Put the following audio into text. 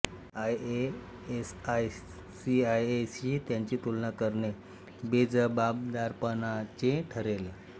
ISI CIA शी त्याची तुलना करणे बेजबाबदारपणाचे ठरेल